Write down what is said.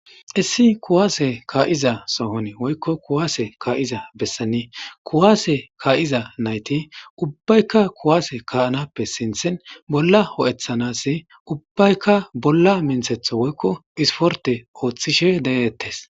issi kuwaase kaa7iza sohon woykko kuwaase kaa7iza bessani kuwaase kaa7iza nayti ubbaykka kuwaase kaanappe sinthin bolla ho7ethanasi ubbaykka bolla minthetho woykko isporte ooththishe deettes